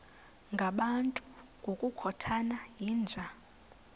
ngabantu ngokukhothana yinja